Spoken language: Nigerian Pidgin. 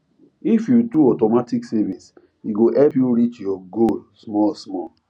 if you do automatic savings e go help you reach your goal small small